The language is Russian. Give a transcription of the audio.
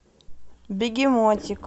бегемотик